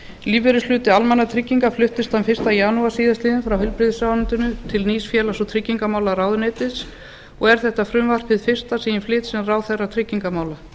lífeyrishluti almannatrygginga fluttist þann fyrsta janúar síðastliðinn frá heilbrigðisráðuneytinu til nýs félags og tryggingamálaráðuneytis og er þetta frumvarp hið fyrsta sem ég flyt sem ráðherra tryggingamála